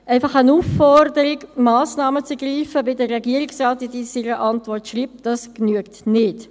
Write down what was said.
einfach eine Aufforderung, Massnahmen zu ergreifen, wie es der Regierungsrat in seiner Antwort schreibt, genügt nicht.